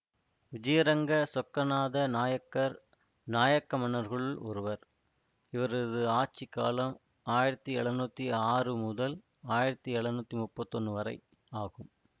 விஜயரங்க சொக்கநாத நாயக்கர் நாயக்க மன்னர்களுள் ஒருவர் இவரது ஆட்சி காலம் ஆயிரத்தி எழுநூத்தி ஆறு முதல் ஆயிரத்தி எழுநூத்தி முப்பத்தி ஒன்று வரை ஆகும்